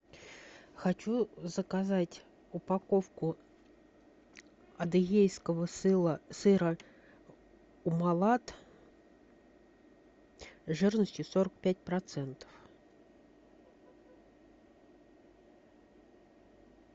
хочу заказать упаковку адыгейского сыра умалат жирностью сорок пять процентов